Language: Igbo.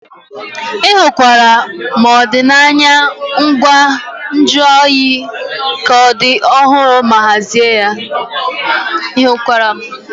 Ị hụkwara na ọdịnaya ngwa nju oyi ka dị ọhụrụ ma hazie ya.